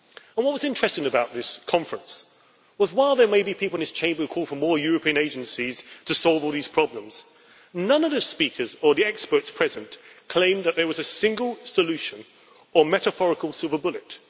What was interesting about this conference was that while there may be people here in this Chamber who call for more European agencies to solve all these problems, none of the speakers or experts present there claimed that there was a single solution or metaphorical silver bullet.